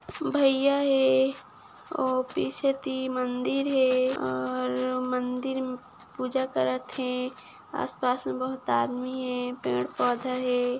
भैया हे और पीछे ती मंदिर हे और मंदिर में पूजा करत हे आस पास में बहोत आदमी हे पेड़ पौधा हे।